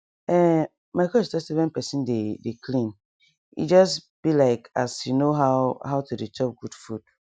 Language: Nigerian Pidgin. ehn my coach talk say when pesin dey dey clean e just bi like as you know how how to dey chop good food